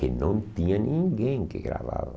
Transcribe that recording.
Que não tinha ninguém que gravava.